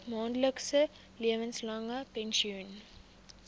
maandelikse lewenslange pensioen